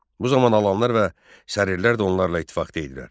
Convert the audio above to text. Bu zaman Alanlar və Sərirlər də onlarla ittifaqda idilər.